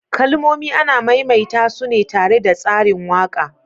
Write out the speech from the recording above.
Kalmomi ana maimaita su ne tare da tsarin waƙa.